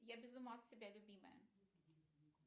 я без ума от себя любимая